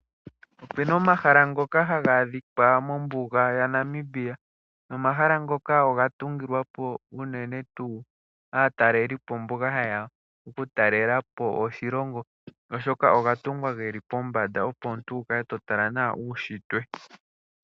Opu na omahala ngoka haga adhika mombuga yaNamibia. Nomahala ngoka oga tungilwa po unene tuu aatalelipo mboka haye ya oku talela po oshilongo oshoka oga tungwa ge li pombanda opo omuntu wu kale to tala nawa uunshitwe.